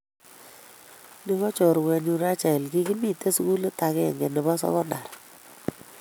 Ni ko chorwenyu Rachael kikimite sugulit agenge nebo sekondar